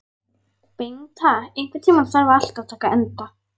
Bengta, einhvern tímann þarf allt að taka enda.